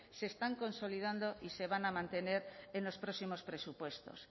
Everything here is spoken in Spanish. se están consolidando y se van a mantener en los próximos presupuestos